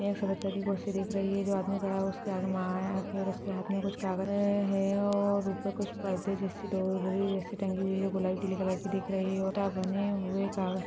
यहाँ एक सफ़ेद कलर की कुर्सी दिख रही है यहाँ जो आदमी खड़ा है उसके हाथ में माइक है और उसके हाथ में कुछ कागज है और ऊपर कुछ पर्दे जैसी डोरी जैसी टंगी हुई है गुलाबी पीले कलर की दिख रही हैं उल्टा बने हुए कागज --